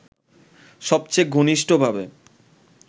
সবচেয়ে ঘনিষ্ঠভাবে